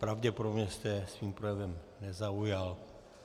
Pravděpodobně jste je svým projevem nezaujal.